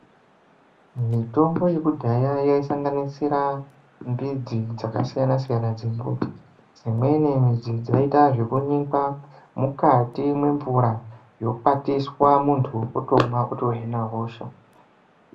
Mitombo yekudhaya yaisanganisira mbidzi dzakasiyana-siyana dzembuti . Dzimweni midzi dzinoita zvekunyikwa mukati mwemvura ,yokwatiswa ,muntu otomwa, otohina hosha.